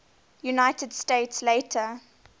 united states later